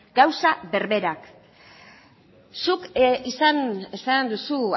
gauza berberak zuk esan duzu